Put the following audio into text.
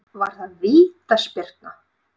Var það vítaspyrna?